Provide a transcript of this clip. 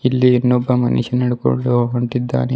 ಇಲ್ಲಿ ಇನ್ನೊಬ್ಬ ಮನುಷ್ಯ ನಡ್ಕೊಂಡು ಹೊಂಟಿದ್ದಾನೆ.